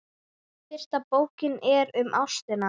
Fyrsta bókin er um ástina.